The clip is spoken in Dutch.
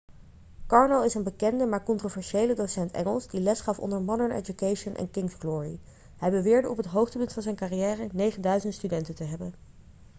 karno is een bekende maar controversiële docent engels die lesgaf onder modern education en king's glory hij beweerde op het hoogtepunt van zijn carrière 9.000 studenten te hebben